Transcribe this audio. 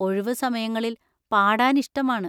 ഒഴിവു സമയങ്ങളിൽ പാടാൻ ഇഷ്ടമാണ്.